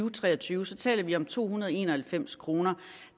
og tre og tyve så taler vi om to hundrede og en og halvfems kroner